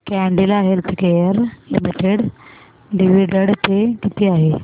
Cadila healthcare limited dividend pay किती आहे